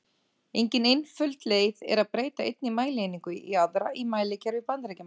Engin einföld leið er að breyta einni mælieiningu í aðra í mælikerfi Bandaríkjamanna.